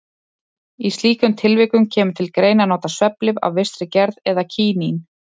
Í slíkum tilvikum kemur til greina að nota svefnlyf af vissri gerð eða kínín.